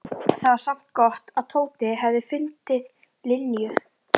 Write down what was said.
Það var samt gott að Tóti hafði fundið Linju.